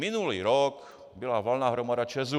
Minulý rok byla valná hromada ČEZu.